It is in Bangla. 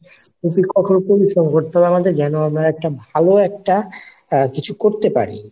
প্রচুর কঠোর পরিশ্রম করতে হবে যেন আমরা ভালো একটি কিছু করতে পারি।